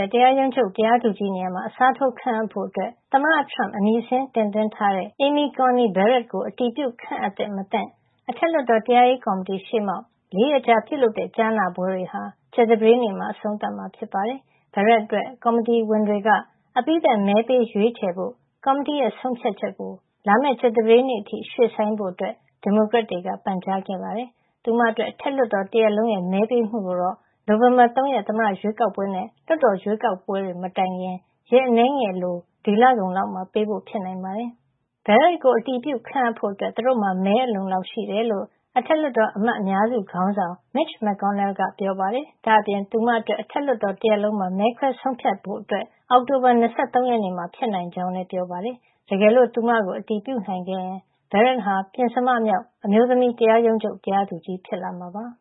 ဲ့ တရားရုံးချုပ် တရားသူကြီးနေရာမှာ အစားထိုးခန့်အပ်ဖို့ သမ္မတထရမ့် အမည်စာရင်း တင်သွင်းထားတဲ့ Amy Coney Barrett ကို အတည်ပြု ခန့်အပ်သင့်မသင့် အထက်လွှတ်တော် တရားရေးကော်မတီရှေ့မှောက် ၄ ရက်ကြာပြုလုပ်တဲ့ ကြားနာပွဲတွေဟာ ကြာသပတေးနေ့မှာ အဆုံးသတ်မှာ ဖြစ်ပါတယ်။ Barrett အတွက် ကော်မတီအဖွဲ့ဝင်တွေက အပြီးသတ် မဲပေးရွေးချယ်ဖို့ ကော်မတီရဲ့ ဆုံးဖြတ်ချက်ကို လာမယ့် ကြာသပတေးနေ့ အထိ ရွှေ့ဆိုင်းဖို့ ဒီမိုကရက်တွေက ပန်ကြားခဲ့ပါတယ်။ သူမအတွက် အထက်လွှတ်တော် တရပ်လုံးရဲ့ မဲပေးမှုကိုတော့ နိုဝင်ဘာ ၃ ရက် သမ္မတရွေးကောက်ပွဲနဲ့ လွှတ်တော်ရွေးကောက်ပွဲတွေ မတိုင်ခင် ရက်အနည်းငယ်အလို ဒီလကုန်လောက်မှာပေးဖို့ ဖြစ်နိုင်ပါတယ်။ ၄၈ နှစ်ရှိပြီဖြစ်တဲ့ Barrett ကို အတည်ပြု ခန်အပ်ဖို့ သူတို့မှာ မဲအလုံအလောက်ရှိကြောင်း အထက်လွှတ်တော် အမတ်အများစုခေါင်းဆောင် ရီပတ်ဘလစ်ကင်ပါတီက Mitch McConnell သူ့ရဲ့ ပြည်နယ် ဖြစ်တဲ့ Kentucky မှာ သတင်းထောက်တွေကို ပြောပါတယ်။ ဒါ့အပြင် သူမအတွက် အထက်လွှတ်တော် တရပ်လုံးမှာ မဲခွဲ ဆုံးဖြတ်ဖို့ အောက်တိုဘာလ ၂၃ ရက်နေ့မှာ ဖြစ်နိုင်ကြောင်း ပြောပါတယ်။ တကယ်လို့ သူမကို အတည်ပြုနိုင်ခဲ့ရင် Barrett ဟာ ပဉ္စမမြောက် အမျိုးသမီး တရားရုံးချုပ် တရားသူကြီး ဖြစ်လာမှာပါ။